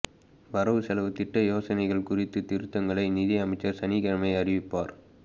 வரவு செலவுத் திட்ட யோசனைகள் குறித்த திருத்தங்களை நிதி அமைச்சர் சனிக்கிழமை அறிவிப்பார்